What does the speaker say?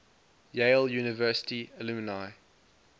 yale university alumni